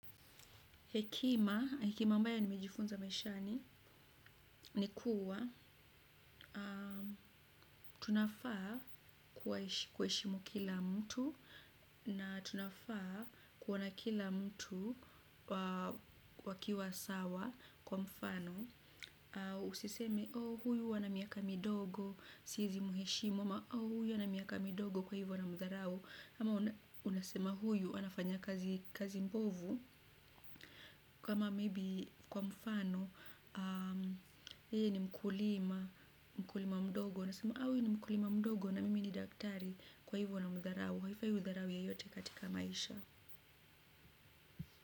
Hekima, hekima ambayo nimejifunza maishani ni kuwa tunafaa kuheshimu kila mtu na tunafaa kuona kila mtu wakiwa sawa kwa mfano. Usiseme, oh huyu ana miaka midogo, seizi muheshimu, ama oh huyu ana miaka midogo kwa hivyo namdharau. Ama unasema huyu, anafanya kazi mbovu, kama maybe, kwa mfano, yeye ni mkulima, mkulima mdogo. Unasema huyu ni mkulima mdogo na mimi ni daktari kwa hivyo namdharau. Haifai hudharau yeyote katika maisha.